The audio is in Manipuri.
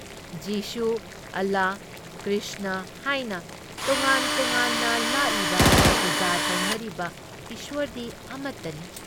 ꯖꯤꯁꯨ, ꯑꯥꯜꯂꯥꯍ, ꯀ꯭ꯔꯤꯁꯅ ꯍꯥꯏꯅ ꯇꯣꯉꯥꯟ ꯇꯣꯉꯥꯟꯅ ꯂꯥꯠꯂꯤꯕ, ꯄꯨꯖꯥ ꯇꯧꯅꯔꯤꯕ ꯏꯁ꯭ꯋꯔꯗꯤ ꯑꯃꯠꯇꯅꯤ ꯫